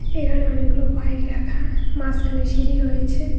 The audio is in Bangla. এখানে অনেকগুলো বাইক রাখা মাসখানে সিঁড়ি রয়েছে।